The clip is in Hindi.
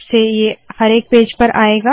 अब ये हर एक पेज पर आएगा